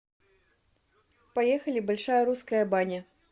поехали большая русская баня